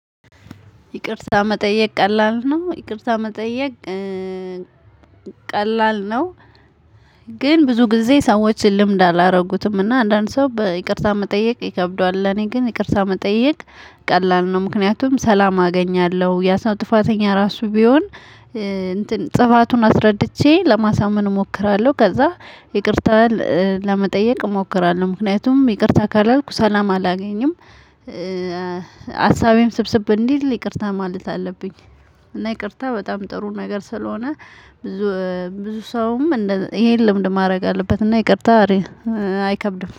ይቅርታ መጠየቅ ቀላል ነው ይቅርታ መጠየቅ ቀላል ነው። ግን ብዙ ጊዜ ሰዎችን ልምድ አላደረጉትም እና አንዳንድ ሰው በይቅርታ መጠየቅ ይከብደዋል። ለኔ ግን ይቅርታ መጠየቅ ቀላል ነው። ምክንያቱም ሰላም አገኛለሁ ያሰው ጥፋተኛ ራሱ ቢሆን። ጥፋቱን አስረድቼ ለማሳመን እሞክራለሁ ከዛ ይቅርታ ለመጠየቅ እሞክራለሁ። ምክንያቱም ይቅርታ ካላልኩ ሰላም አላገኝም። ሀሳቤም ስብስብ እንዲል ይቅርታ ማለት አለብኝ። እና ይቅርታ በጣም ጥሩ ነገር ስለሆነ። ብዙ ብዙ ሰውም ይሄን ልምድ ማድረግ አለበት እና ይቅርታ አይከብድም